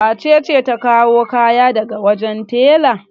Wace ce ta kawo kayan ka daga wajen tela?